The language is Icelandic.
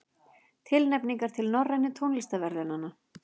Tilnefningar til Norrænu tónlistarverðlaunanna